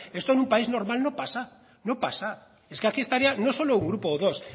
esto en un país normal no pasa no pasa es que aquí estaría no solo un grupo o dos